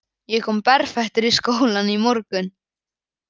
Ég kom berfættur í skólann í morgun